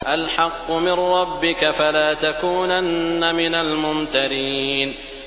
الْحَقُّ مِن رَّبِّكَ ۖ فَلَا تَكُونَنَّ مِنَ الْمُمْتَرِينَ